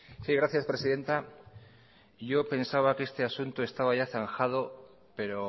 sí gracias presidenta yo pensaba que este asunto estaba ya zanjado pero